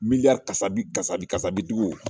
Miliyari kasabi kasabi sabidugu